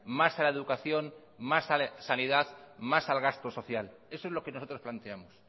más a la educación más a sanidad más al gasto social eso es lo que nosotros planteamos